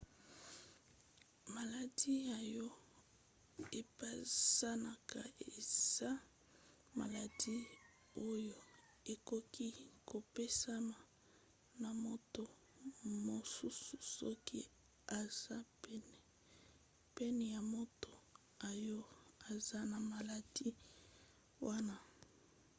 maladi oyo epanzanaka eza maladi oyo ekoki kopesama na moto mosusu soki aza pene ya moto oyo aza na maladi wana